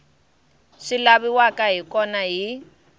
swi laviwaka hi kona hi